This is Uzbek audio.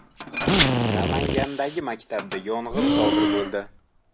Namangandagi maktabda yong‘in sodir bo‘ldi.